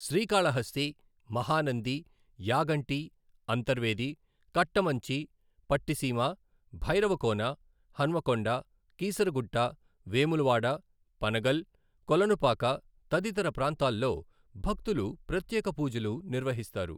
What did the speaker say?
శ్రీకాళహస్తి, మహానంది, యాగంటి, అంతర్వేది, కట్టమంచి, పట్టిసీమ, భైరవకోన, హన్మకొండ, కీసరగుట్ట, వేములవాడ, పనగల్, కోలనుపాక తదితర ప్రాంతాల్లో భక్తులు ప్రత్యేక పూజలు నిర్వహిస్తారు.